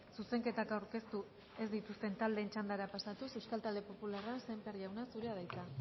zuzenketak aurkeztu ez dituzten taldeen txandara pasatuz euskal talde popularra sémper jauna zurea da hitza